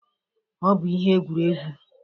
Ọ bụ ihe egwuregwu.